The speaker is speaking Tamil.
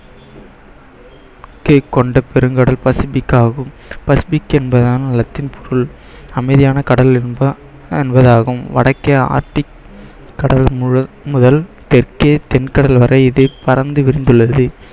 கொண்ட பெருங்கடல் பசிபிக்காகும் பசிபிக் என்பதான் லத்தீன் பொருள் அமைதியான கடல் என்ப~ என்பதாகும் வடக்கே ஆர்ட்டிக் கடல் முழு முதல் தெற்கே தென் கடல் வரை இது பரந்து விரிந்துள்ளது